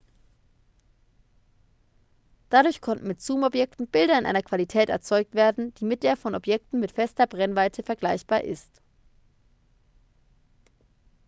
dadurch konnten mit zoomobjektiven bilder in einer qualität erzeugt werden die mit der von objektiven mit fester brennweite vergleichbar ist